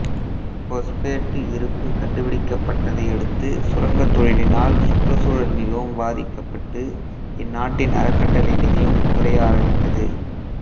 phosphate இருப்பு கண்டுபிடிக்கப்பட்டதை அடுத்து சுரங்கத் தொழிலினால் சுற்றுச்சூழல் மிகவும் பாதிக்கப்பட்டு இந்நாட்டின் அறக்கட்டளை நிதியம் குறைய ஆரம்பித்தது